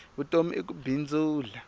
vutomi i ku bindzula